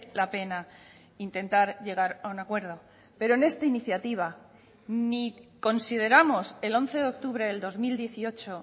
la pena intentar llegar a un acuerdo pero en esta iniciativa ni consideramos el once de octubre del dos mil dieciocho